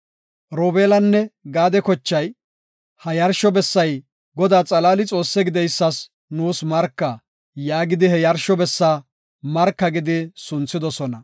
Robeelanne Gaade kochay, “Ha yarsho bessay Godaa xalaali Xoossaa gideysas nuus marka” yaagidi, he yarsho bessa “Marka” gidi sunthidosona.